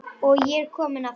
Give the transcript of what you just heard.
Og ég er kominn aftur!